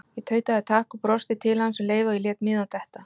Ég tautaði takk og brosti til hans um leið og ég lét miðann detta.